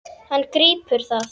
Hann grípur það.